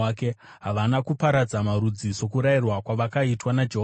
Havana kuparadza marudzi sokurayirwa kwavakaitwa naJehovha,